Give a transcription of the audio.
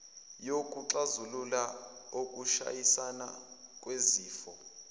wokuxazulula ukushayisana kwezifiso